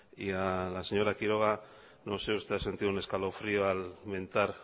y a la señora quiroga no sé usted ha sentido un escalofrío al mentar